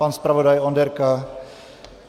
Pan zpravodaj Onderka?